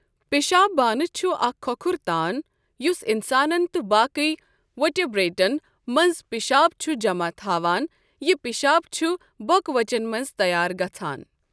پِشاب بانہٕ چھُ اَکھ کھۄکھُر تان یُس اِنسانَن تہٕ باقٕے ؤٹیبریٹَن مَنٛز پِشاب چھُ جَمع تھاوَان یہِ پِشاب چھُ بۄکہٕ وَچَن مَنٛز تَیار گَژاھَن۔